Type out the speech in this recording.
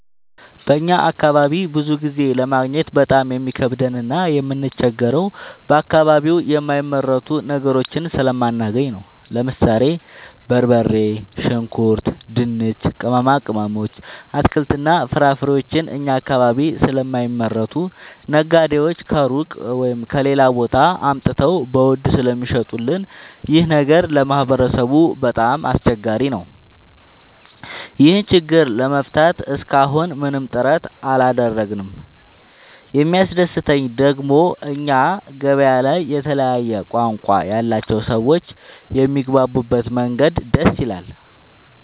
በእኛ አካባቢ ብዙ ጊዜ ለማግኘት በጣም የሚከብደን እና የምንቸገረው በአከባቢው የማይመረቱ ነገሮችን ስለማናገኝ ነው። ለምሳሌ፦ በርበሬ፣ ሽንኩርት፣ ድንች፣ ቅመማ ቅመሞች፣ አትክልትና ፍራፍሬዎችን እኛ አካባቢ ስለማይመረቱ ነጋዴዎች ከሩቅ(ከሌላ ቦታ) አምጥተው በውድ ስለሚሸጡልን ይኸ ነገር ለማህበረሰቡ በጣም አስቸጋሪ ነው። ይህን ችግር ለመፍታት እሰከ አሁን ምንም ጥረት አላደረግንም። የሚያስደሰተኝ ደግሞ እኛ ገበያ ላይ የተለያየ ቋንቋ ያላቸው ሰዎች የሚግባቡበት መንገድ ደስ ይላል።